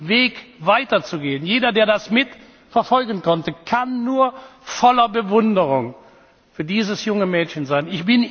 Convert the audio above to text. Weg weiter zu gehen jeder der das mitverfolgen konnte, kann nur voller Bewunderung für dieses junge Mädchen sein.